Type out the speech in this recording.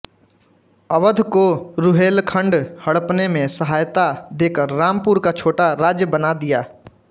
अवध को रुहेलखण्ड हड़पने में सहायता देकर रामपुर का छोटा राज्य बना दिया